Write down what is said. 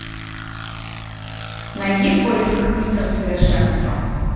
найди в поисках мистер совершенство